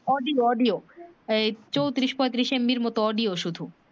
audio audio এই চৌত্রিশ পয়ত্রিশ MB এর মত audio শুধু